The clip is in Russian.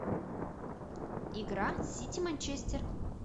игра сити манчестер